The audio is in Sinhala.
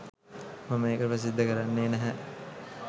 මම ඒක ප්‍රසිද්ධ කරන්නේ නැහැ.